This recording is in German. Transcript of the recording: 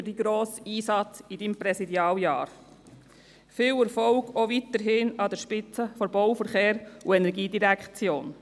Dank für Ihren grossen Einsatz während Ihres Präsidialjahrs und weiterhin viel Erfolg an der Spitze der Bau-, Verkehrs- und Energiedirektion.